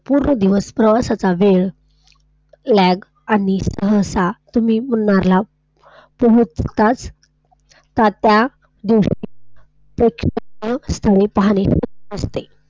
पूर्ण दिवस सगळं वेळ ल्याग आणि आणि मुन्नार ला ,.